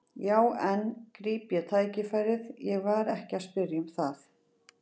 Já en, gríp ég tækifærið, ég var ekki að spyrja um það.